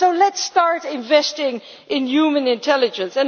on? Let us start investing in human intelligence.